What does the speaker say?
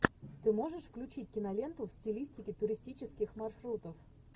ты можешь включить киноленту в стилистике туристических маршрутов